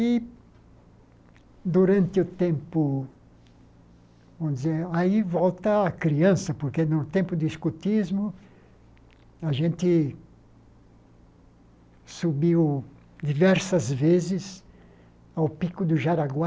E, durante o tempo, vamos dizer, aí volta a criança, porque no tempo do escotismo, a gente subiu diversas vezes ao Pico do Jaraguá.